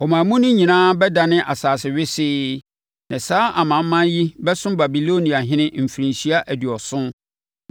Ɔman mu no nyinaa bɛdane asase wesee, na saa amanaman yi bɛsom Babiloniahene mfirinhyia aduɔson.